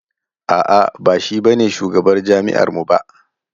A'a ba shi ba ne shugabar jami'ar mu ba.